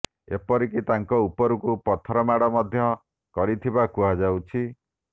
ଏପରିକି ତାଙ୍କ ଉପରକୁ ପଥର ମାଡ ମଧ୍ୟ କରିଥିବା କୁହାଯାଉଛି